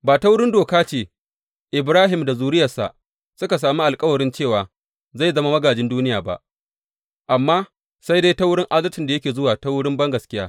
Ba ta wurin doka ce Ibrahim da zuriyarsa suka sami alkawarin cewa zai zama magājin duniya ba, amma sai dai ta wurin adalcin da yake zuwa ta wurin bangaskiya.